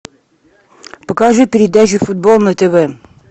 покажи передачу футбол на тв